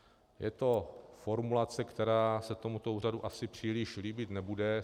Je to formulace, která se tomuto úřadu asi příliš líbit nebude.